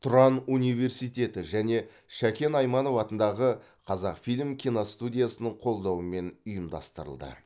тұран университеті және шәкен айманов атындағы қазақфильм киностудиясының қолдауымен ұйымдастырылды